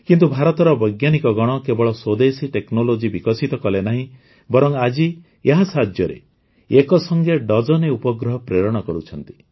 କିନ୍ତୁ ଭାରତର ବୈଜ୍ଞାନିକଗଣ କେବଳ ସ୍ୱଦେଶୀ ଟେକ୍ନୋଲୋଜି ବିକଶିତ କଲେ ନାହିଁ ବରଂ ଆଜି ଏହା ସାହାଯ୍ୟରେ ଏକସଂଗେ ଡଜନେ ଉପଗ୍ରହ ପ୍ରେରଣ କରୁଛନ୍ତି